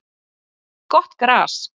Gott gras